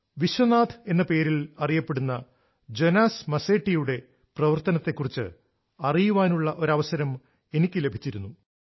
വിശ്വനാഥ് എന്ന പേരിൽ അറിയപ്പെടുന്ന ജോനാസ് മസെട്ടിയുടെ ജോണാസ് മസെറ്റി പ്രവർത്തനത്തെക്കുറിച്ച് അറിയാനുള്ള ഒരു അവസരം എനിക്ക് ലഭിച്ചിരുന്നു